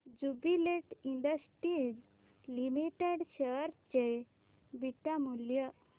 Jubilant industries limited share चे beta मूल्य